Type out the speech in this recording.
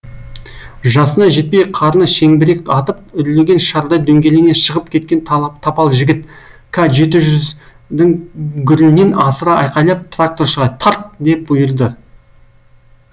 жасына жетпей қарны шеңбірек атып үрлеген шардай дөңгелене шығып кеткен тапал жігіт к жеті жүз дің гүрілінен асыра айқайлап тракторшыға тарт деп бұйырды